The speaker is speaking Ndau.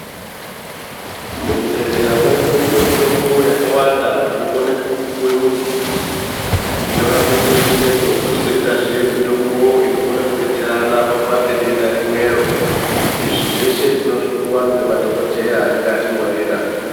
Muzvibhedhlera medu mune mitombo yakawanda inokone kupuwe muntu inorape chiro chimwecho, kochizoitazve mitombo inokone kudetserana kurape denda rimwero. Izvi zveshe tinozvipuwa ngemadhogodheya anenge atinyorera.